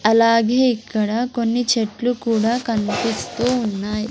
అలాగే ఇక్కడ కొన్ని చెట్లు కూడా కన్పిస్తూ ఉన్నాయ్.